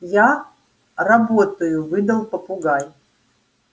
я работаю выдал попугай